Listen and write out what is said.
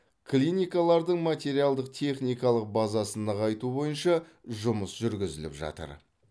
клиникалардың материалдық техникалық базасын нығайту бойынша жұмыс жүргізіліп жатыр